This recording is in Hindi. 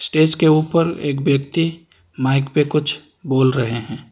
स्टेज के ऊपर एक व्यक्ति माइक पे कुछ बोल रहे हैं।